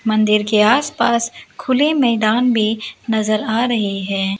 मंदिर के आसपास खुले मैदान में नजर आ रहें हैं।